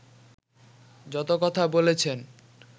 যত কথা বলেছেন